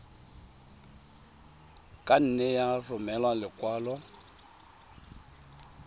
ka nne ya romela lekwalo